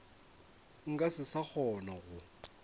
nka se sa kgona go